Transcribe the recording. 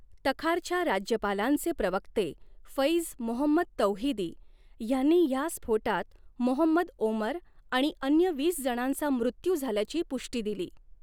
तखारच्या राज्यपालांचे प्रवक्ते फैज मोहम्मद तौहिदी ह्यांनी ह्या स्फोटात मोहम्मद ओमर आणि अन्य वीस जणांचा मृत्यू झाल्याची पुष्टी दिली.